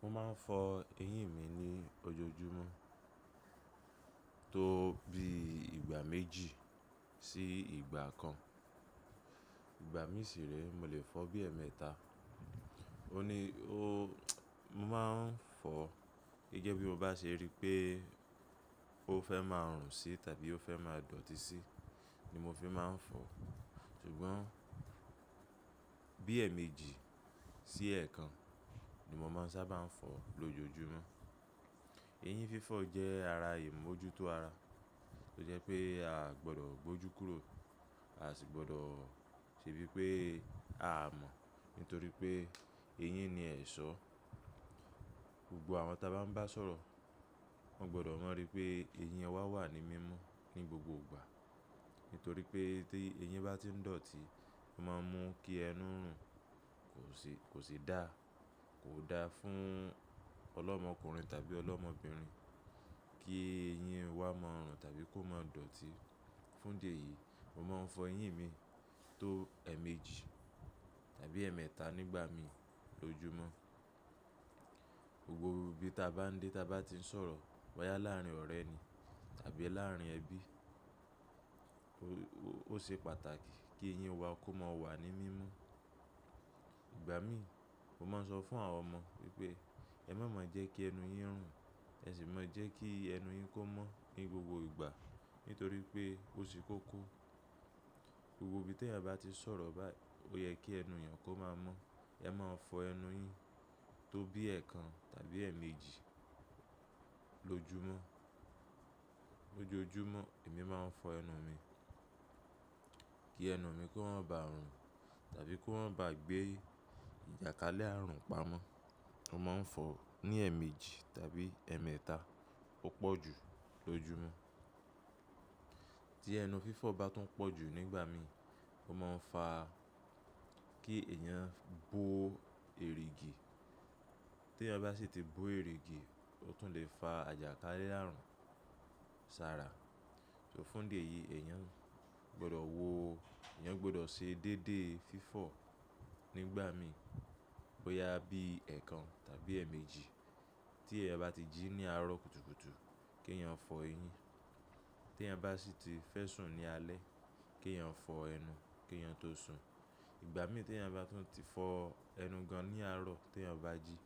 Mo máa ń fọ eyín mi ní ojoojúmọ́ tó bí ìgbà méjì sí ìgbà kan. Ìgbà mí sì rẹ́ mo lè fọ bí ẹ̀ẹ̀mẹ́ta. Ó ní ó, mo máa ń fọ gẹ́gẹ́ bí mo bá ṣe rí pée ó fẹ́ máa rùn sí tàbí ó fẹ́ máa dọ̀tí sí ni mo fi máa ń fọ. 3 Ṣùgbọ́n bí ẹ̀ẹ̀mejì sí ẹ̀ẹ̀kan ni mo máa ń sábà ń fọ lójoojúmọ́. Eyín fífọ̀ jẹ́ ara ìmójútó ara, ó jẹ́ pé a a gbọdọ̀ gbójú kúrò, a sì gbọdọ̀ ṣe bí pé a mọ̀ nítorí pé eyín ni ẹ̀ṣọ́. Gbogbo àwọn ta bá ń bá sọ̀rọ̀, wọ́n gbọdọ̀ mọ̀ ri pé eyín wa wà ní mímo ní gbogbo ìgbà. Nítorí pé tí eyín bá ti ń dọ̀tí, ó máa ń mú kí ẹnu rùn, kò sì, kò sì dáa. Kò dáa fún ọlọ́mọkùnrin tàbí ọlọ́mọbìnrin kí eyín wá máa rùn tàbí kó máa dọ̀tí. Fún dí eyìí, mo máa ń fọ eyín mi tó ẹ̀ẹ̀mejì tàbí ẹ̀ẹ̀mẹ́ta nígbà mí lójúmọ́. Gbogbo ibi ta bá ń dé, ta bá ti ń sọ̀rọ̀, bóyá láárín ọ̀rẹ́ ni tàbí láárín ẹbí, ó ṣe pàtàkì kí eyín wa kó máa wà ní mímo. Ìgbà mí, mo máa ń sọ fún àwọn ọmọ wípé ẹ̀ má maa jẹ́ kí ẹnu yín rùn, ẹ sì maa jẹ́ kí ẹnu yín kó mọ́ ní gbogbo ìgbà nítorí wipé ó se kókó. Gbogbo ibi t'ẹ̀yin bá ti ń sọ̀rọ̀ báí, ó yẹ kí ẹnu èèyàn kó máa mọ́. Ẹ máa fọ ẹnu yín tó bí ẹ̀ẹ̀kan tàbí ẹ̀ẹ̀mejì lójoojúmọ́. Lójoojúmọ́ èmi máa ń fọ ẹnu mi kí ẹnu mi kó má bá rùn tàbí kó má báa gbé ìjàkalẹ̀ àrùn pamọ́. Mo máa ń fọ ní ẹ̀ẹ̀mejì tàbí ẹ̀ẹ̀mẹ́ta o pọ̀ jù lójúmọ́. Tí ẹnu fífọ̀ bá tún pọ̀ jù nígbà míi, ó máa ń fa kí èèyàn bo erìgì. Tí èèyàn bá sì ti bo erìgì, ó tún lè fa àjàkalẹ̀ àrùn sára. So fún dí eyìí, èèyàn gbọdọ̀ wòó, èèyàn gbọdọ̀ ṣe déédéé fífọ̀ nígbà míi bóyá bií ẹ̀ẹ̀kan tàbí ẹ̀ẹ̀mejì. Tí ẹ̀ bá ti jí ní àárọ̀ kùtùkùtù kí èèyàn fọ eyín. Tí èèyàn bá sì ti fẹ́ sùn ní alẹ́, kí èèyàn fọ ẹnu kí èèyàn tó sùn. Ìgbà mí tí èèyàn bá tún ti fọ ẹnu gan ní àárọ̀ tí èèyàn bá jí,